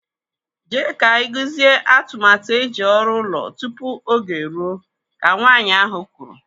Jee ka iguzie atụmatụ eji ọrụ ụlọ tupu oge eruo, Ka Nwaanyị ahụ kwuru.